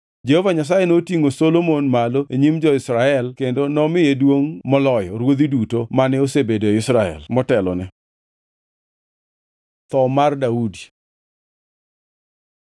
Jehova Nyasaye notingʼo Solomon malo e nyim jo-Israel kendo nomiye duongʼ moloyo ruodhi duto mane osebedo e Israel motelone. Tho mar Daudi